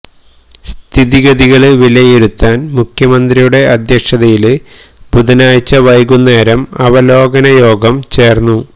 സ്ഥിതിഗതികള് വിലയിരുത്താന് മുഖ്യമന്ത്രിയുടെ അധ്യക്ഷതയില് ബുധനാഴ്ച വൈകുന്നേരം അവലോകന യോഗം ചേര്ന്നു